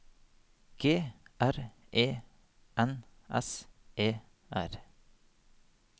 G R E N S E R